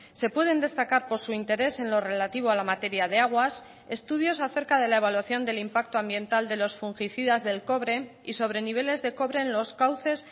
se pueden destacar por su interés en lo relativo a la materia de aguas estudios acerca de la evaluación del impacto ambiental de los fungicidas del cobre y sobre niveles de cobre en los cauces